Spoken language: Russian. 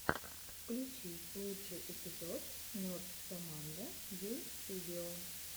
включи лучший эпизод нерд соммандо гейм студио